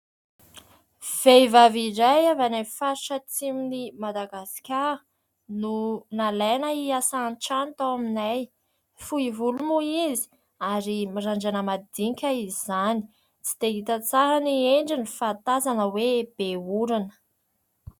Vehivavy iray avy any amin'ny faritra atsimon'i Madagasikara no nalaina hiasa antrano tao aminay, fohy volo moa izy ary mirandrana madinika izany, tsy dia hita tsara ny endriny fa tazana hoe be orana.